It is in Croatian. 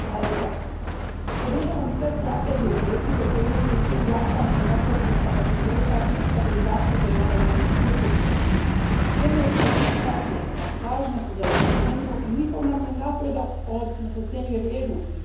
Gospodine predsjedniče, podržavam sve strategije i politike koje imaju za cilj jačanje demokratskih kapaciteta i stabilizaciju zemalja iz našeg susjedstva. Zemlje Istočnoga partnerstva važne su za Europsku uniju i njihov nam je napredak od neprocjenjive vrijednosti.